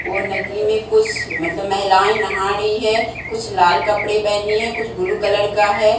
वो नदी में कुछ मतलब महिलाएं नहा रही है कुछ लाल कपड़े पहनी है कुछ ब्लू कलर का है।